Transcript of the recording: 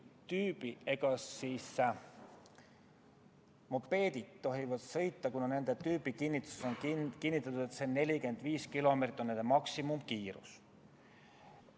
Mopeedid tohivad sõita, kuna nende tüübikinnituses on kinnitatud, et 45 kilomeetrit tunnis on nende maksimumkiirus.